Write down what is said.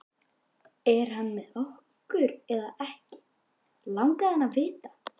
Er hann með okkur eða ekki? langaði hann að vita.